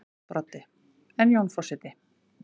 Broddi: En Jón forseti?